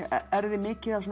erfði mikið af svona